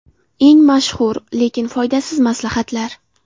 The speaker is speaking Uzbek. Eng mashhur, lekin foydasiz maslahatlar.